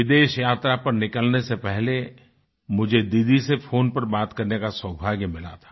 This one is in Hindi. विदेश यात्रा पर निकलने से पहले मुझे दीदी से फ़ोन पर बात करने का सौभाग्य मिला था